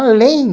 Além